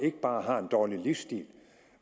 ikke bare en dårlig livsstil